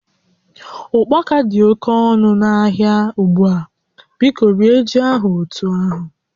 Ụkpaka dị oke ọnụ n'ahịa ugbu a, biko rie ji ahụ otu ahụ